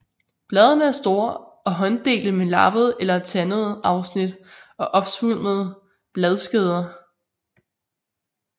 Bladene er store og hånddelte med lappede eller tandede afsnit og opsvulmede bladskeder